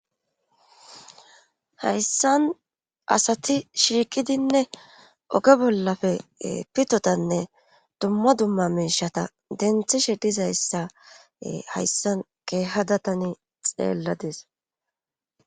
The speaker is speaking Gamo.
Hayssan asati shiiqidinne oge bollappe pitotanne dumma dumma miishata denthishe dizayssa hayssan keehada tani xeeladiss